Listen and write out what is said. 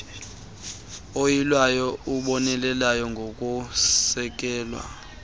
uyilwayo ubonelela ngokusekwa